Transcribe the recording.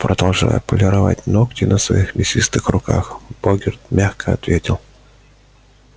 продолжая полировать ногти на своих мясистых руках богерт мягко ответил